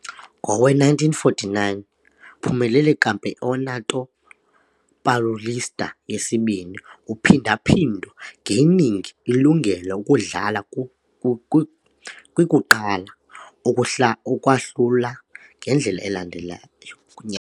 Ngowe-1949, uphumelele Campeonato Paulista Yesibini uphinda-phindo, gaining ilungelo ukudlala kwi kwi kwi kuqala ukwahlula ngendlela elandelayo.